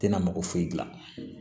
Tɛna mako foyi gilan